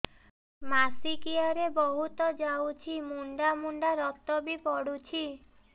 ମାସିକିଆ ରେ ବହୁତ ଯାଉଛି ମୁଣ୍ଡା ମୁଣ୍ଡା ରକ୍ତ ବି ପଡୁଛି